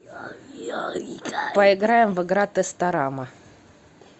поиграем в игра тесторама